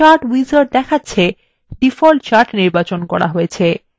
chart wizard দেখাচ্ছে the default chart নির্বাচন করা হয়েছে